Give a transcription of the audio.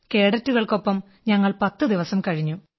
കേഡറ്റുകൾക്കൊപ്പം ഞങ്ങൾ 10 ദിവസം കഴിഞ്ഞു